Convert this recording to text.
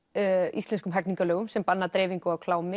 íslenskum hegningarlögum sem banna dreifingu á klámi